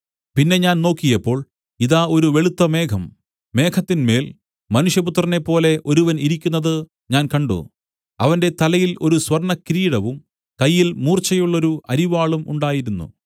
പിന്നെ ഞാൻ നോക്കിയപ്പോൾ ഇതാ ഒരു വെളുത്ത മേഘം മേഘത്തിന്മേൽ മനുഷ്യപുത്രനെപ്പോലെ ഒരുവൻ ഇരിക്കുന്നത് ഞാൻ കണ്ട് അവന്റെ തലയിൽ ഒരു സ്വർണ്ണകിരീടവും കയ്യിൽ മൂർച്ചയുള്ളൊരു അരിവാളും ഉണ്ടായിരുന്നു